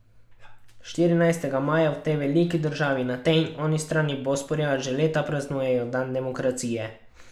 Štirinajstega maja v tej veliki državi na tej in oni strani Bosporja že leta praznujejo dan demokracije.